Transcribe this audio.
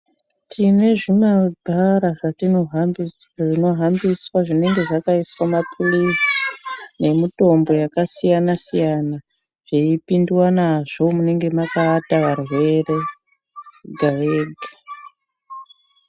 Tine zvimabhara zvatinohambi zvinohambiswa zvinenge zvakaiswa maphirizi nemutombo yakasiyana-siyana. Zveipindwa nazvo munenge makaata varwere wega-wega.